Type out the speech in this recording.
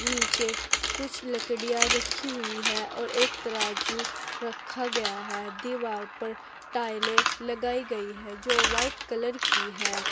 नीचे कुछ लकड़िया रखी हुई है और एक तराजू रखा गया है दीवार पर टाइलें लगाई गई है जो वाइट कलर की है।